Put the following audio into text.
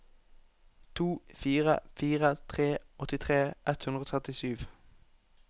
to fire fire tre åttitre ett hundre og trettisju